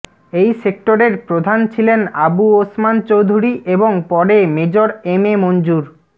এই সেক্টরের প্রধান ছিলেন আবু ওসমান চৌধুরী এবং পরে মেজর এম এ মঞ্জুর